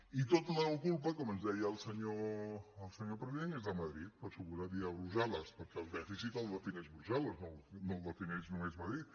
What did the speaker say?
i tota la culpa com ens deia el senyor president és de madrid per descomptat i de brussel·les perquè el dèficit el defineix brussel·les no el defineix només madrid